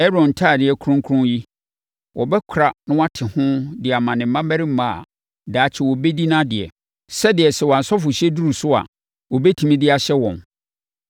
“Aaron ntadeɛ kronkron yi, wɔbɛkora na wɔate ho de ama ne mmammarima a daakye wɔbɛdi nʼadeɛ, sɛdeɛ sɛ wɔn asɔfohyɛ duru so a, wɔbɛtumi de ahyɛ wɔn.